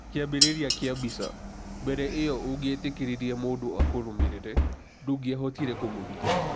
Kĩambĩrĩria kĩa mbica: Mbere ĩyo, ũngĩetĩkĩririe mũndũ akũrũmĩrĩre, ndũngĩahotire kũmũruta.